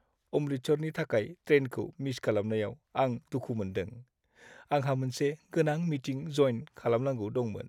अमृतसरनि थाखाय ट्रेनखौ मिस खालामनायाव आं दुखु मोनदों, आंहा मोनसे गोनां मिटिं जयेन खालामनांगौ दंमोन।